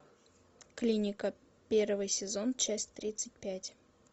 клиника первый сезон часть тридцать пять